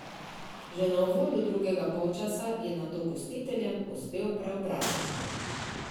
Že na uvodu drugega polčasa je nato gostiteljem uspel preobrat!